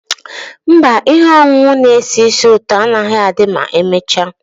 Mba, ihe ọṅụṅụ na-esi ísì ụtọ agaghị adị ma emechaa.